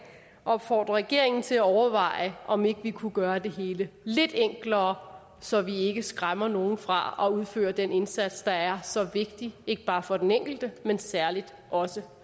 opfordre regeringen til at overveje om ikke vi kunne gøre det hele lidt enklere så vi ikke skræmmer nogle fra at udføre den indsats der er så vigtig ikke bare for den enkelte men særlig også